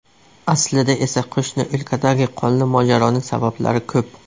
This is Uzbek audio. Aslida esa qo‘shni o‘lkadagi qonli mojaroning sabablari ko‘p.